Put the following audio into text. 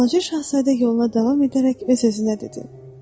Balaca Şahzadə yoluna davam edərək öz-özünə dedi: